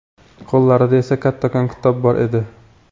Qo‘llarida esa kattakon kitob bor edi.